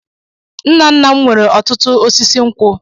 Nna nna m nweere ọtụtụ osisi nkwụ.